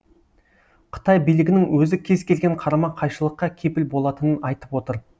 қытай билігінің өзі кез келген қарама қайшылыққа кепіл болатынын айтып отыр